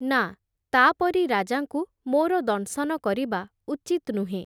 ନାଁ, ତା’ ପରି ରାଜାଙ୍କୁ ମୋର ଦଂଶନ କରିବା ଉଚିତ୍ ନୁହେଁ ।